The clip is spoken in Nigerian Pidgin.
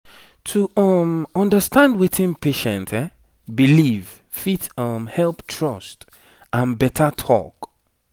to um understand wetin patient believe fit um help trust and better talk